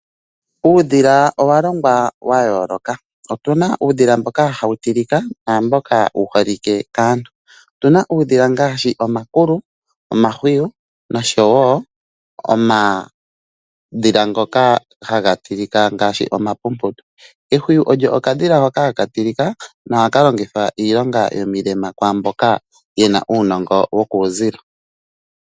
Uudhila owalongwa wayooloka, otuna uudhila mboka hawu tilika naamboka wu holike kaantu. Otuna uudhila ngaashi omakulu, omahwiyu nosho wo omadhila ngoka haga tilika ngaashi omapumputu. Ehwiyu olyo okadhila hoka haka tilika nohaka longithwa iilonga yomilema kwaamboka ye na uunongo wokuuzilo.